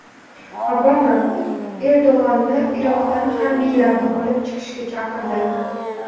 Obama Erdo‘g‘onni Iroqdan harbiylarni olib chiqishga chaqirdi.